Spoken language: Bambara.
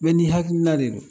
Bɛɛ ni hakilina de don.